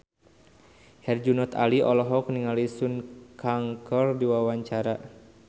Herjunot Ali olohok ningali Sun Kang keur diwawancara